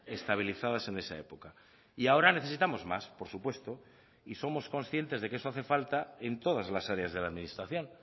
estabilizadas en esa época y ahora necesitamos más por supuesto y somos conscientes de que eso hace falta en todas las áreas de la administración